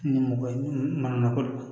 Ni mɔgɔ ye mana ko la